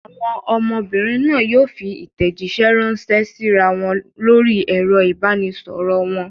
Àwọn ọmọbìnrin náà yóò fi ìtẹ̀jíṣẹ́ ránṣẹ́ síra wọn lórí ẹ̀rọ ìbanisọ̀rọ̀ wọn.